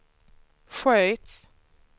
sköts